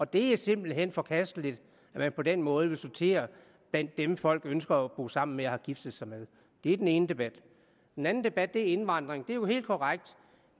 det er simpelt hen forkasteligt at man på den måde vil sortere blandt dem folk ønsker at bo sammen med og har giftet sig med det er den ene debat den anden debat er om indvandring det er helt korrekt at